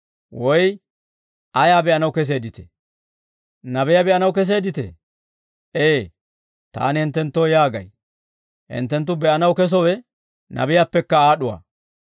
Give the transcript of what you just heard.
Woy ayaa be'anaw keseedditee? Nabiyaa be'anaw keseedditee? Ee; taani hinttenttoo yaagay; hinttenttu be'anaw kesowe nabiyaappekka aad'uwaa.